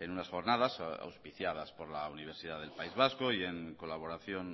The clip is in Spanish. en unas jornadas auspiciadas por la universidad del país vasco y en colaboración